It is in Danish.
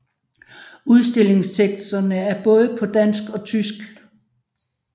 Udstillingsteksterne er både på dansk og tysk